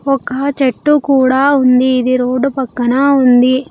ఒక చెట్టు కూడా ఉంది ఇది రోడ్డు పక్కన ఉంది.